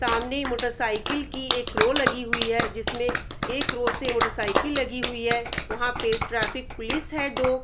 सामने मोटरसाइकिल की एक रौ लगी हुई है जिसमें एक रौ से मोटरसाइकिल लगी हुई है वहाँ पर ट्रैफिक पुलिस है दो।